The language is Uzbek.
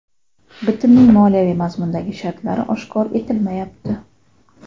Bitimning moliyaviy mazmundagi shartlari oshkor etilmayapti.